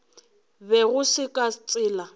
be go se ka tsela